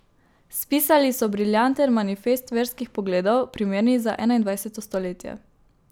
Spisali so briljanten manifest verskih pogledov, primernih za enaindvajseto stoletje.